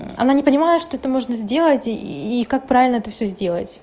она не понимает что это можно сделать и как правильно это всё сделать